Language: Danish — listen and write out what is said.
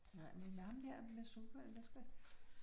Nej, men ham der med zumba, hvad skal